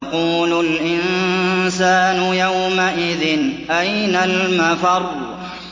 يَقُولُ الْإِنسَانُ يَوْمَئِذٍ أَيْنَ الْمَفَرُّ